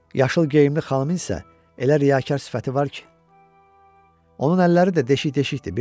Yaşıl geyimli xanımın isə elə riyakar sifəti var ki, onun əlləri də deşik-deşikdir.